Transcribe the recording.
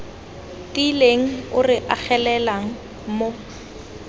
tiileng o re agelelang mo